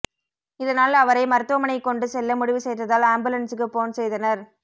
இதனால் அவரை மருத்துவமனைக் கொண்டு செல்ல முடிவு செய்ததால் ஆம்புலன்ஸ்க்கு போன் செய்தனர்